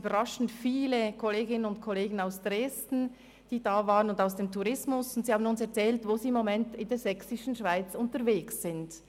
Überraschend viele Kolleginnen und Kollegen aus Dresden waren zugegen und erzählten uns, wo sie im Moment in Tourismusthemen in der Sächsischen Schweiz unterwegs seien.